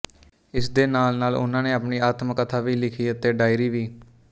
ਇਸ ਦੇ ਨਾਲ ਨਾਲ ਉਹਨਾਂ ਨੇ ਆਪਣੀ ਆਤਮ ਕਥਾ ਵੀ ਲਿਖੀ ਅਤੇ ਡਾਿੲਰੀ ਵੀ